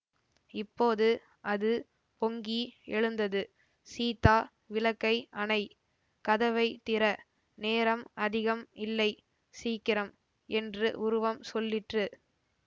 இப்போது அது பொங்கி எழுந்தது சீதா விளக்கை அணை கதவை திற நேரம் அதிகம் இல்லை சீக்கிரம் என்று உருவம் சொல்லிற்று